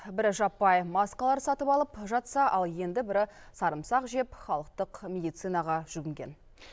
бірі жаппай маскалар сатып алып жатса ал енді бірі сарымсақ жеп халықтық медицинаға жүгінген